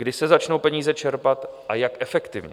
Kdy se začnou peníze čerpat a jak efektivně?